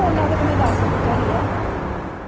ਉਹਲਾ ਕਾ ਤਾਂ ਮੈ ਪੁੱਛ ਹੀ ਲਿਤਾ ਸੀਗਾ